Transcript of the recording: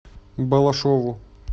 балашову